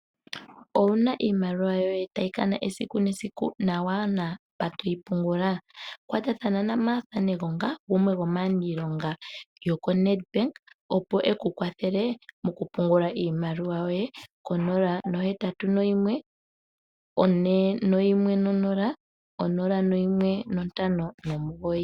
Owuna iimaliwa yoye tayi kana esiku nesiku na kuna mpoka toyi pungula? Kwatathana na Martha Negonga, gumwe gomaaniilonga yoko NEDBANK, opo ekukwathele okupungula iimaliwa yoye, dhenga konola nohetatu noyimwe, one noyimwe nonola, onola noyimwe nontano nomugoyi.